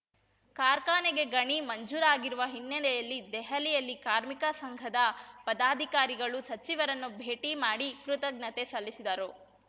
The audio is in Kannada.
ಕಾರ್ಖಾನೆಗೆ ಗಣಿ ಮಂಜೂರಾಗಿರುವ ಹಿನ್ನೆಲೆಯಲ್ಲಿ ದೆಹಲಿಯಲ್ಲಿ ಕಾರ್ಮಿಕ ಸಂಘದ ಪದಾಧಿಕಾರಿಗಳು ಸಚಿವರನ್ನು ಭೇಟಿ ಮಾಡಿ ಕೃತಜ್ಞತೆ ಸಲ್ಲಿಸಿದರು